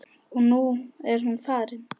Og nú er hún farin.